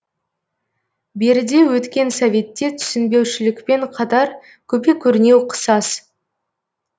беріде өткен советте түсінбеушілікпен қатар көпе көрнеу қысас